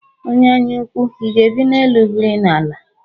Onye anya ukwu, I ga-ebi n'elu biri n'ala?